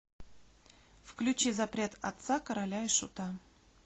включи запрет отца короля и шута